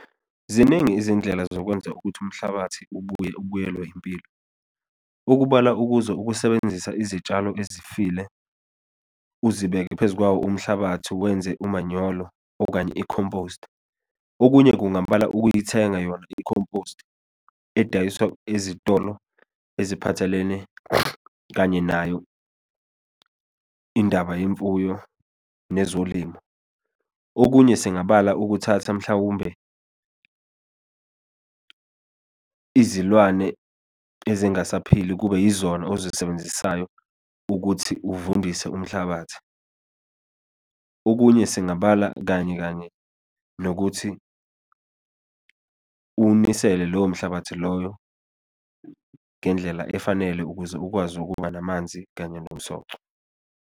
Ziningi izindlela zokwenza ukuthi umhlabathi ubuye, ubiyelwe impilo. Okubalwa ukuzo ukusebenzisa izitshalo ezifile, uzibeke phezu kwawo umhlabathi wenze umanyolo, okanye i-compost. Okunye, kungabala ukuyithenga yona i-compost, edayiswa ezitolo eziphathelene kanye nayo indaba yemfuyo nezolimo. Okunye, singabala ukuthatha mhlawumbe, izilwane ezingasaphili kube yizona ozisebenzisayo ukuthi uvundise umhlabathi. Okunye, singabala kanye kanye nokuthi uwunisele lowo mhlabathi loyo ngendlela efanele ukuze ukwazi ukuba namanzi kanye nomsoco.